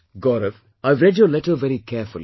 Gaurav, I have read your letter very carefully